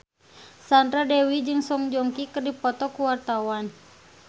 Sandra Dewi jeung Song Joong Ki keur dipoto ku wartawan